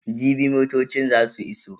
Jibi motocin za su iso.